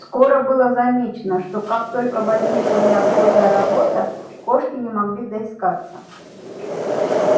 скоро было замечено что как только возникла неотложная работа кошки не могли доискаться